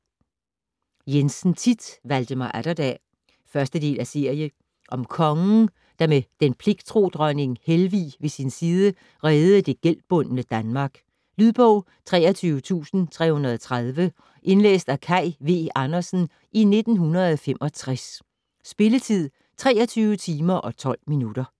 Jensen, Thit: Valdemar Atterdag 1. del af serie. Om kongen, der med den pligttro dronning Helvig ved sin side, reddede det gældbundne Danmark. Lydbog 23330 Indlæst af Kaj V. Andersen, 1965. Spilletid: 23 timer, 12 minutter.